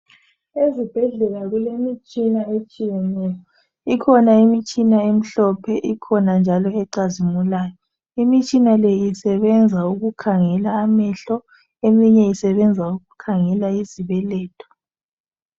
Ezibhedlela kule mitshina etshiyeneyo, ikhona imitshina emhlophe ikhona njalo icazimulayo. Imitshina le isebenza ukukhangela amehlo , eminye isebenza ukukhangela izibeletho.